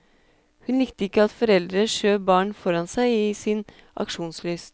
Hun likte ikke at foreldre skjøv barn foran seg i sin aksjonslyst.